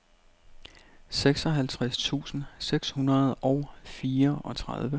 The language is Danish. seksoghalvtreds tusind seks hundrede og fireogtredive